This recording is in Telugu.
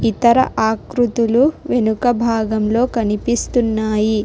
ఇతర ఆకృతులు వెనుక భాగంలో కనిపిస్తున్నాయి.